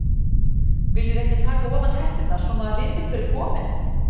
Viljiði ekki taka ofan hetturnar svo maður viti hver er kominn?